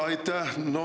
Aitäh!